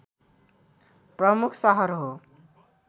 प्रमुख सहर हो